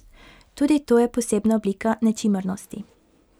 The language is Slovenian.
Tudi to je posebna oblika nečimrnosti.